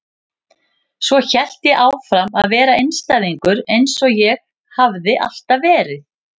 Svo hélt ég áfram að vera einstæðingur eins og ég hafði alltaf verið.